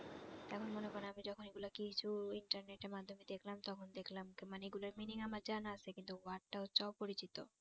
এখন মনে করেন আমি যখন এগুলা কিছু internet এর মাধ্যমে দেখলাম তখন দেখলাম মানে এগুলার meaning আমার জানা আছে কিন্তু word টা হচ্ছে অপরিচিত